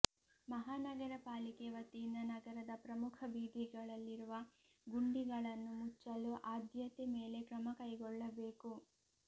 ಮಹಾನಗರ ಪಾಲಿಕೆ ವತಿಯಿಂದ ನಗರದ ಪ್ರಮುಖ ಬೀದಿಗಳಲ್ಲಿರುವ ಗುಂಡಿಗಳನ್ನು ಮುಚ್ಚಲು ಆದ್ಯತೆ ಮೇಲೆ ಕ್ರಮ ಕೈಗೊಳ್ಳಬೇಕು